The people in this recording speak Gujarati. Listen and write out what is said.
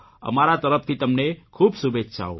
અમારા તરફથી તમને ખૂબ શુભેચ્છાઓ